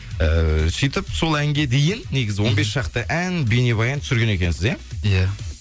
ііі сөйтіп сол әнге дейін негізі он бес шақты ән бейнебаян түсірген екенсіз иә иә